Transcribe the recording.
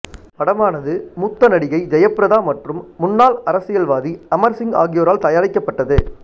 படமானது மூத்த நடிகை ஜெயபிரதா மற்றும் முன்னாள் அரசியல்வாதி அமர் சிங் ஆகியோரால் தயாரிக்கப்பட்டது